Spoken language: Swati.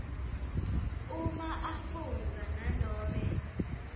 uma afundza nanobe